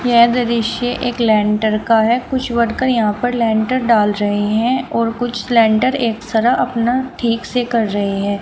यह दृश्य एक लेंटर का है कुछ वर्कर यहां पर लेंटर डाल रहे हैं और कुछ लेंटर एक सारा अपना ठीक से कर रहे हैं।